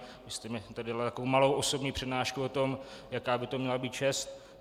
Vy jste mně tady dala takovou malou osobní přednášku o tom, jaká by to měla být čest.